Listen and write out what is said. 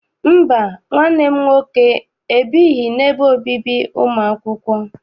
Mba, nwanne m nwoke ebighị n'ebe obibi ụmụ akwụkwọ.